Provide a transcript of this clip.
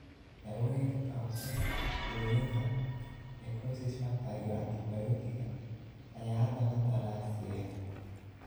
Daawooyinka ka hortagga burooyinka necrosis factor iyo antibiyootiga ayaa hadda la daraaseeyaa.